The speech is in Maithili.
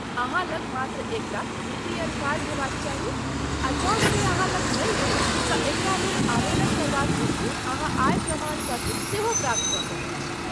अहाँ लग मात्र एकटा बी. पी. एल. कार्ड हेबाक चाही आ जँ से अहाँ लग नहि अछि तँ एकरा लेल आवेदन करबाक हेतु अहाँ आय प्रमाणपत्र सेहो प्राप्त कऽ सकैत छी।